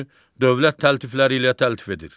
Dövlət təltifləri ilə təltif edir.